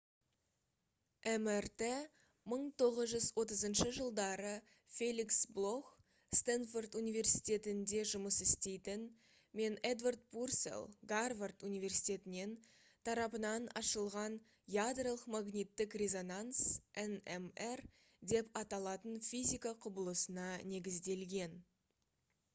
мрт 1930 жылдары феликс блох стэнфорд университетінде жұмыс істейтін мен эдвард пурселл гарвард университетінен тарапынан ашылған ядролық магниттік резонанс nmr деп аталатын физика құбылысына негізделген